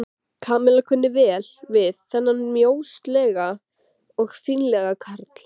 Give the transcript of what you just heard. Kamilla kunni vel við þennan mjóslegna og fínlega karl.